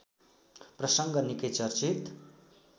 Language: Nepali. प्रसङ्ग निकै चर्चित